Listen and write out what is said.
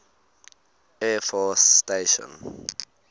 air force station